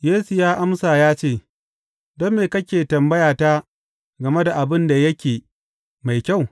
Yesu ya amsa ya ce, Don me kake tambayata game da abin da yake mai kyau?